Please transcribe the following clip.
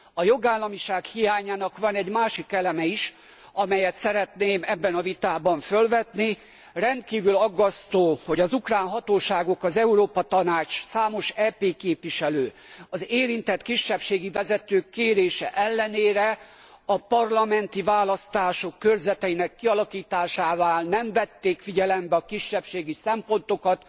A jogállamiság hiányának van egy másik eleme is, amelyet szeretnék ebben a vitában fölvetni rendkívül aggasztó, hogy az ukrán hatóságok az Európa Tanács, számos EP képviselő, az érintett kisebbségi vezetők kérése ellenére a parlamenti választások körzeteinek kialakításánál nem vették figyelembe a kisebbségi szempontokat.